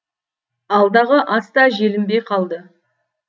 алдағы ас та желінбей қалды